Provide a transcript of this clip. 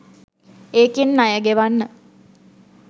ඒකෙන් ණය ගෙවන්න